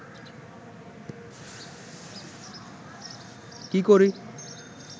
কি করি